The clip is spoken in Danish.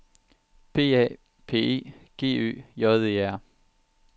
P A P E G Ø J E R